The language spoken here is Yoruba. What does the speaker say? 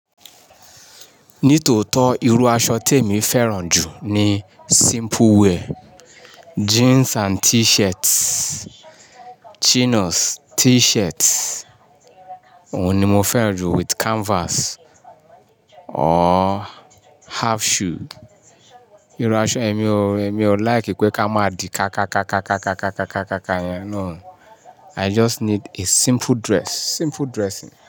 Ní tòótọ́ irú aṣọ tèmi fẹ́ràn jù ni simple wear, jeans and t-shirt, chinos, t-shirt. Òun ni mo fẹ́ràn jù with canvas or half shoe. Irú aṣọ èmi ò, èmi ò like pé ká má di ká ká ká ká ká ká ká ká ká ká yẹn náà. I just need a simple dress, simple dressing.